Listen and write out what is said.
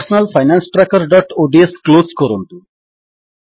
personal finance trackerଓଡିଏସ close କରନ୍ତୁ